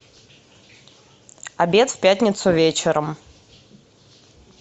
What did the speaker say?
обед в пятницу вечером